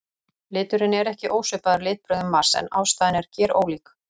Liturinn er ekki ósvipaður litbrigðum Mars en ástæðan er gerólík.